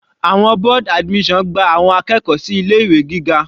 Àwọn board admission gba àwọn akẹ́kọ̀ọ́ sí ilé ìwé gíga.